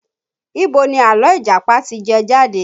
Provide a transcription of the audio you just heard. Ibo ni àlọ́ Ìjàpá ti jẹ jáde?